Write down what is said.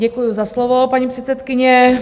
Děkuji za slovo, paní předsedkyně.